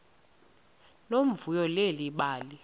nomvuyo leli bali